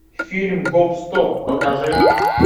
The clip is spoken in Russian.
фильм гоп стоп покажи